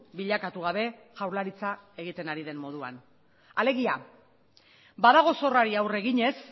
bilakatu gabe jaurlaritza egiten ari den moduan alegia badago zorrari aurre eginez